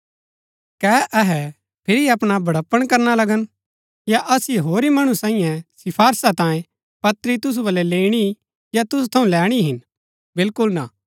कै अहै फिरी अपणा बढपण करणा लगन या असिओ होरी मणु सांईये सिफारिशा तांयें पत्री तुसु बलै लैईणी या तुसु थऊँ लैणी हिन बिलकुल ना